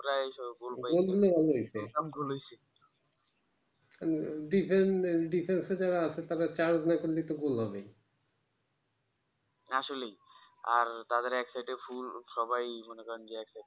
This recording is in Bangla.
প্রায় সবাই defense এ যারা আছে তাঁরা charge না করলেই তো ভুল হবেই আসলেই আর তাদের এক সাইড এ ফুল সবাই মনে